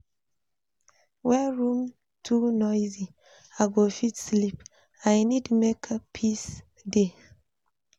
When room too noisy, I go fit sleep, I need make peace dey